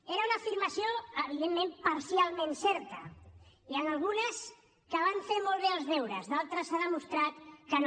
era una afirmació evidentment parcialment certa n’hi han algunes que van fer molt bé els deures d’altres s’ha demostrat que no